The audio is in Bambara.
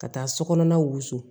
Ka taa sokɔnɔna wusu